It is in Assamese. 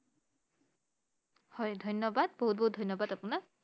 হয় ধন্য়বাদ বহুত বহুত ধন্য়বাদ আপোনাক I